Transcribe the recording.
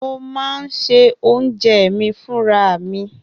Mo máa ń se oúnjẹ mi fúnra mi.